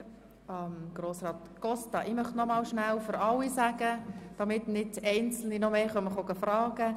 Ich bin nun mehrfach nach dem Ablauf dieser Debatte gefragt worden.